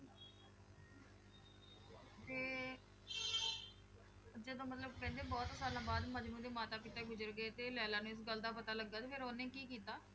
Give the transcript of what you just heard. ਤੇ ਜਦੋਂ ਮਤਲਬ ਕਹਿੰਦੇ ਬਹੁਤ ਸਾਲਾਂ ਬਾਅਦ ਮਜਨੂੰ ਦੇ ਮਾਤਾ ਪਿਤਾ ਗੁਜ਼ਰ ਗਏ ਤੇ ਲੈਲਾ ਨੂੰ ਇਸ ਗੱਲ ਦਾ ਪਤਾ ਲੱਗਾ ਤੇ ਫਿਰ ਉਹਨੇ ਕੀ ਕੀਤਾ?